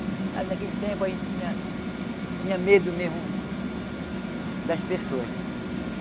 Sabe, naquele tempo a gente tinha... tinha medo mesmo... das pessoas, né?